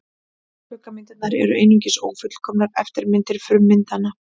Skuggamyndirnar eru einungis ófullkomnar eftirmyndir frummyndanna.